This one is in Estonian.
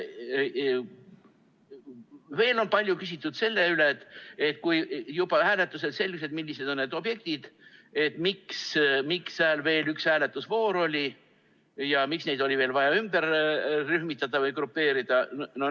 Veel on palju küsitud selle kohta, et kui juba hääletusel selgus, millised need objektid on, siis miks seal veel üks hääletusvoor oli ja miks neid oli vaja veel ümber rühmitada või grupeerida.